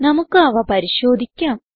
നമുക്ക് അവ പരിശോധിക്കാം